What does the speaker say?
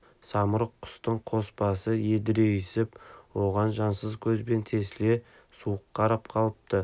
самұрық құстың қос басы едірейісіп оған жансыз көзбен тесіле суық қарап қалыпты